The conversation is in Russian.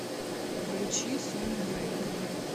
включи соню рейн